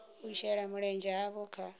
u shela mulenzhe havho kha